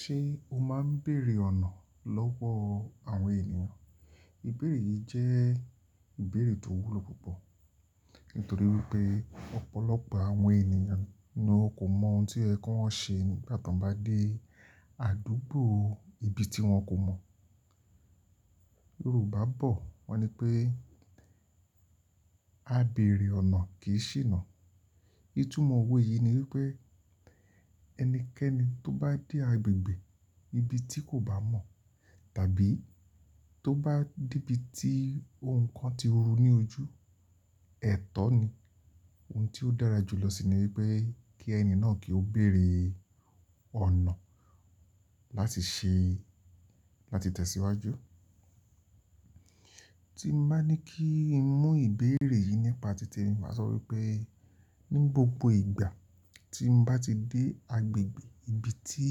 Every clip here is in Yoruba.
Ṣé o máa ń bèèrè ọ̀nà lọ́wọ́ àwọn ènìyàn? Ìbèrè yìí jẹ́ ìbèrè tó wúlò púpọ̀ nítorí wípé ọ̀pọ̀lọpọ̀ àwọn ènìyàn ni wón kò mọ ohun tí ẹ kó wọn ṣe nígbà tó bá dé àdúgbò ibi tí wọn kò mọ̀. Yorùbá bọ̀ wọ́n ní pé "àbéèrè ọ̀nà kì í ṣìnà". Ìtumọ̀ owó yìí ni wípé ẹnikẹ́ni tó bá dé agbègbè ibi tí kò bá mọ̀ tàbí tó bá dé ibi tí ohun kan ti ru ní ojú, ẹ̀tọ́ ni. Ohun tí ó dára jù lọ sì ni wípé kí ẹni náà kí ó bèèrè ọ̀nà láti tẹ̀síwájú. Tí mo bá ní kí n mú ìbèrè yìí nípa tìtẹ̀ mi, màá sọ wípé ní gbogbo ìgbà tí mo bá ti dé agbègbè ibi tí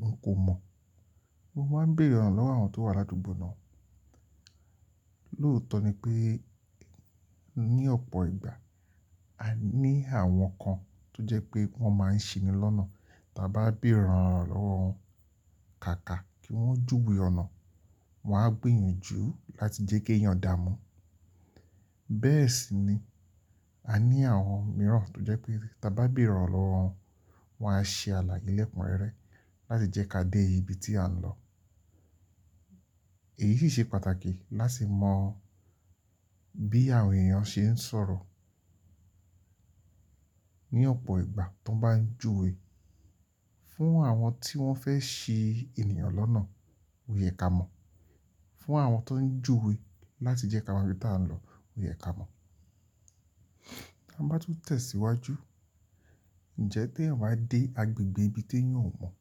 n kò mọ̀, mo máa ń bèèrè ọ̀nà lọ́wọ́ àwọn tó wà l'ádúgbò náà. Lóòótọ́ ni pé ní ọ̀pọ̀ ìgbà, a ní àwọn kan tó jẹ́ pé wọ́n máa ń ṣini lọ́nà. Tà bá béèrè ọ̀nà lọ́wọ́ wọn kàkà kí wọ́n júwe ọ̀nà, wọ́n á gbìyànjú láti jẹ́ kí èèyàn dààmú. Bẹ́ẹ̀ sì ni a ní àwọn mìíràn tó jẹ́ pé tí a bá béèrè ọ̀nà lọ́wọ́ wọn, wọ́n á ṣe alàye lẹ́kun rẹ́rẹ́ láti jẹ́ ká dé ibi tí à ń lọ. Èyí sì ṣe pàtàkì láti mọ bí àwọn èèyàn ṣe ń sọ̀rọ̀ ní ọ̀pọ̀ ìgbà tó bá ń júwe fún àwọn tí wọ́n fẹ́ ṣi ènìyàn lọ́nà, ò yẹ ká mọ̀. Fún àwọn tó ń júwe láti jẹ́ ká mọ ibi tí à ń lọ, ò yẹ ká mọ̀. Tí a bá tún tẹ̀síwájú, ǹjẹ́ tí eeyan dé agbègbè ibi tí èèyàn ò mọ̀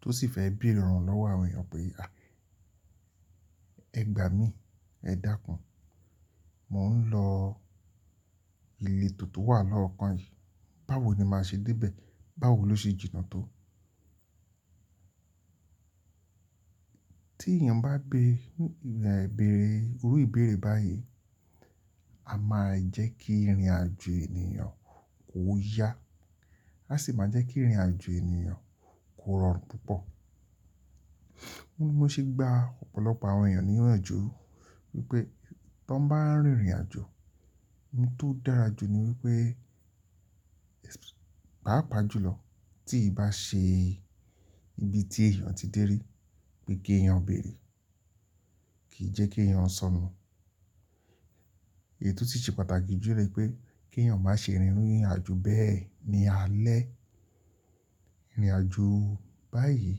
tó sì fẹ́ béèrè ọ̀nà lọ́wọ́ àwọn èèyàn pé "à, ẹ gbà mí, ẹ dákún, mò ń lọ iléto to wà lọ́ọ̀kan yìí, báwo ni màá ṣe dé bẹ̀? Báwo ló ṣe jìnnà tó?" Tí èèyàn bá beré irú ìbèrè báyìí, a máa jẹ́ kí ìrìnàjò èèyàn kó yá, a sì máa jẹ́ kí ìrìnàjò èèyàn kó rọrùn púpọ̀. Óun ni mo ti ṣe gbá ọ̀pọ̀lọpọ̀ àwọn èèyàn ní ìyànju wípé tan bá ń rìnrìnàjò, ohun tó dára jù ni wípé paapà jùlọ tí ì bá ṣe ibi tí èèyàn ti dé rí pé kí èèyàn béèrè, kìí jẹ́ kí èèyàn sọnù. Èyitò tun ṣe pàtàkì jù ni pé kí èèyàn má ṣe rìn iru irìnàjò bẹ́ẹ̀ ní alẹ́. Irìnàjò báyìí,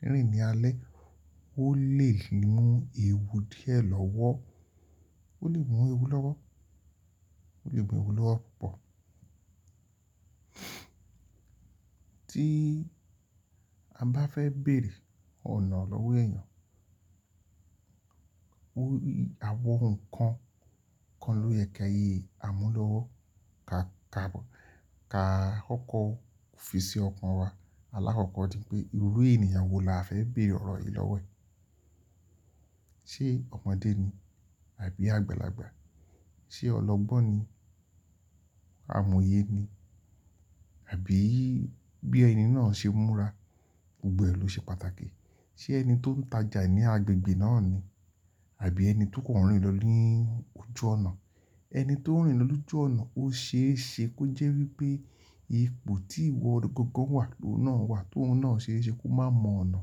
rìnrìn ní alẹ́, ó lè mú ewu díẹ̀ lọ́wọ́, ó lè mú ewu lọ́wọ́, ó lè mú ewu lọ́wọ́ púpọ̀. Tí a bá fẹ́ bèèrè ọ̀nà lọ́wọ́ èèyàn, àwọn ohun kan kan ló yẹ ki àmúlọ́wọ́. Kaà kọ́kọ́ fi sí ọkàn wa. Alákọ́kọ́ ni pé irú èèyàn wo la fẹ́ béèrè ọ̀rọ̀ yìí lọ́wọ́ ẹ? Ṣé ọmọdé ni àbí àgbàlagbà? Ṣé ọlọ́gbọ́n ni, amòye ni àbí bí ẹni náà ṣe múra gbogbo ẹ ló ṣe pàtàkì. Ṣé ẹni tó ń tajà ní agbègbè náà ni àbí ẹni tó kọ̀n nrin lọ ní ojú ọ̀nà? Ẹni tó ń rìn lọ lójú ọ̀nà, ó ṣe é ṣe kó jẹ́ wípé ipò tí ìwọ gangan wà ló náà wà tó ohun náà ṣe é ṣe kó má mọ ọ̀nà.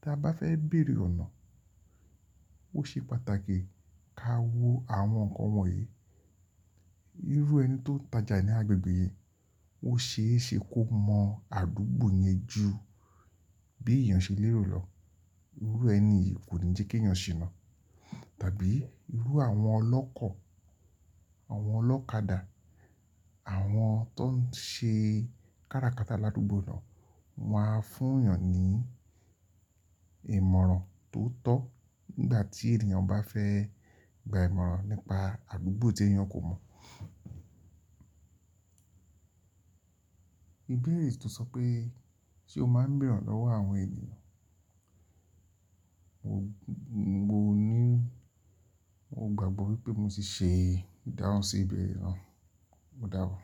Tí a bá fẹ́ bèèrè ọ̀nà, ó ṣe pàtàkì ká wo àwọn nǹkan wọ̀nyí. Irú ẹni tó ń tajà ní agbègbè yìí, ó ṣe é ṣe kó mọ àdúgbò yẹn jù bí èèyàn ṣe lérò lọ. Irú ẹni yìí kò ní jẹ́ kí èèyàn ṣìnà. Tàbí irú àwọn ọlọ́kọ̀, àwọn ọlọ́kadà, àwọn tó ń ṣe kára kata l'ádúgbò náà, wọ́n á fún èèyàn ní ìmọ̀ràn tó tọ́ nígbà tí èèyàn bá fẹ́ gba ìmọ̀ràn nípa àdúgbò tí èèyàn kò mọ̀. Ìbèrè tí o sọ pé "ṣé o máa ń bèèrè ọ̀nà lọ́wọ́ àwọn èèyàn?" Mo ní, mo gbàgbọ́ wípé mo ti ṣe ìdáhùn sí ìbèrè náà. O dàbọ̀.